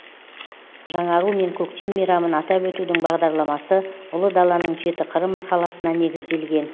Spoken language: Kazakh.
жаңару мен көктем мейрамын атап өтудің бағдарламасы ұлы даланың жеті қыры мақаласына негізделген